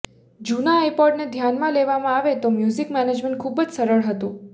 જુના આઇપોડ ને ધ્યાનમાં લેવામાં આવે તો મ્યુઝિક મેનેજમેન્ટ ખુબ જ સરળ હતું